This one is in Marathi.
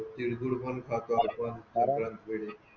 तिळगुळ पण खातात